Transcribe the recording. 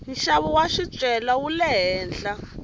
nxavo wa swicelwa wule henhla